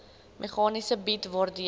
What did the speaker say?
meganisme bied waardeur